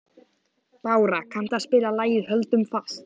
Bára, kanntu að spila lagið „Höldum fast“?